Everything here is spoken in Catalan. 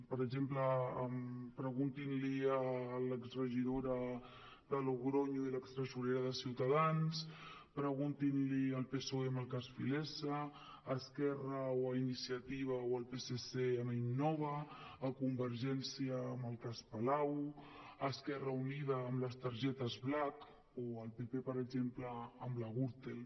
per exemple preguntin l’hi a l’exregidora de logronyo i a l’extresorera de ciutadans preguntin l’hi al psoe amb el cas filesa a esquerra o a iniciativa o al psc amb innova a convergència amb el cas palau a esquerra unida amb les targetes blackexemple amb la gürtel